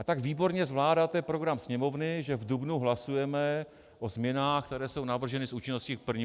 A tak výborně zvládáte program Sněmovny, že v dubnu hlasujeme o změnách, které jsou navrženy s účinností k 1. lednu.